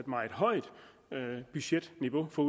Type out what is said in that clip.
meget højt budgetniveau på